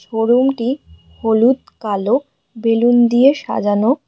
Showroom -টি হলুদ কালো বেলুন দিয়ে সাজানো।